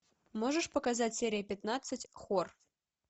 можешь показать серия пятнадцать хор